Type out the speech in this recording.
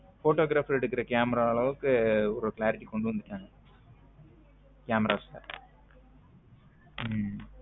Photo grapher எடுக்குற camara ஆளவுக்கு ஒரு clarity கொண்டு வந்துட்டாங்க camaras ல உம்